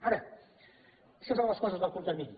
ara això són les coses del curt termini